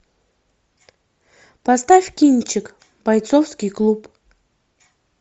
поставь кинчик бойцовский клуб